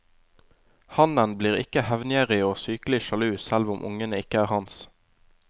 Hannen blir ikke hevngjerrig og sykelig sjalu selv om ungene ikke er hans.